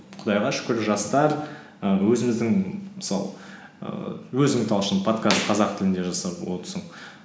құдайға шүкір жастар і өзіміздің мысалы ііі өзің талшын подкаст қазақ тілінде жасап